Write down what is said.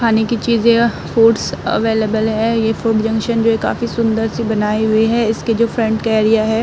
खाने की चीज़ें फूड्स अवेलेबल है। ये फूड जंक्शन जो है काफी सुंदर-सी बनाई हुई है। इसके जो फ्रंट का एरिया है --